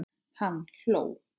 Hann hló.